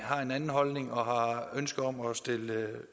har en anden holdning og har ønske om at stille